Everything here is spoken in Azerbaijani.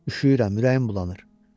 Üşüyürəm, ürəyim bulanır.